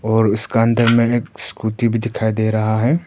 और उसका अंदर में एक स्कूटी भी दिखाई दे रहा है।